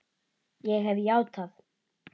Ég hef játað.